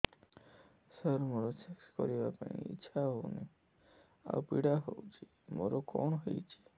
ସାର ମୋର ସେକ୍ସ କରିବା ପାଇଁ ଇଚ୍ଛା ହଉନି ଆଉ ପୀଡା ହଉଚି ମୋର କଣ ହେଇଛି